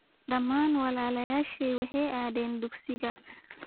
Dhammaan walaalayashey waxay aadeen dugsiga.